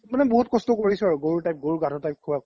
মানে বহুত কস্ত কৰিছো আৰু গৰু গাধ type